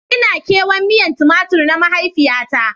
Ina kewan miyan Tumatur na mahaifiya na.